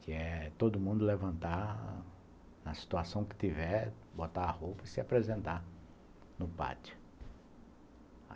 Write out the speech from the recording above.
que é todo mundo levantar, na situação que tiver, botar a roupa e se apresentar no pátio.